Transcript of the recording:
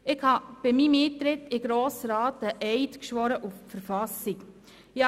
Bei meinem Eintritt in den Grossen Rat habe ich einen Eid auf die Verfassung geschworen.